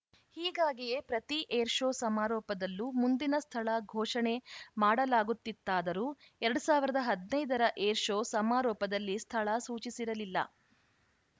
ಹೀಗಾಗಿಯೇ ಪ್ರತಿ ಏರ್‌ಶೋ ಸಮಾರೋಪದಲ್ಲೂ ಮುಂದಿನ ಸ್ಥಳ ಘೋಷಣೆ ಮಾಡಲಾಗುತ್ತಿತ್ತಾದರೂ ಎರಡ್ ಸಾವಿರದ ಹದಿನೈದ ರ ಏರ್‌ಶೋ ಸಮಾರೋಪದಲ್ಲಿ ಸ್ಥಳ ಸೂಚಿಸಿರಲಿಲ್ಲ